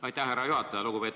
Aitäh, härra juhataja!